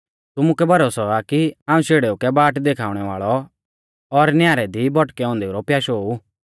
तुमुकै भरोसौ आ कि हाऊं शेड़ेऊ कै बाट देखाउणै वाल़ौ और न्यारी दी भौटकै औन्देऊ रौ प्याशौ ऊ